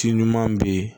Ci ɲuman be yen